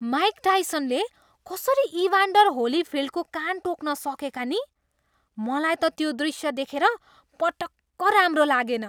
Mic टाइसनले कसरी Evander होलीफिल्डको कान टोक्न सकेका नि? मलाई त त्यो दृष्य देखेर पटक्क राम्रो लागेन।